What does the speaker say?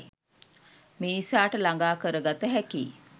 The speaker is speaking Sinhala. මිනිසාට ළඟා කර ගත හැකියි.